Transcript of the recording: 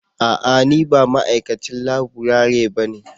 A'a! Ni ba ma'aikacin laburare bane.